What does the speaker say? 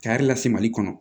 Kari lase mali kɔnɔ